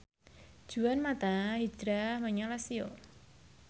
Juan mata hijrah menyang Lazio